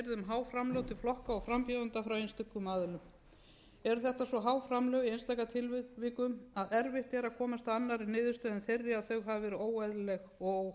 há framlög til flokka og frambjóðenda frá einstökum aðilum ertu þetta svo há framlög í einstaka tilvikum að erfitt er að komast að annarri niðurstöðu en þeirri að þau hafi verið